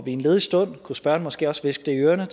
i en ledig stund kunne spørgeren måske også hviske det i ørerne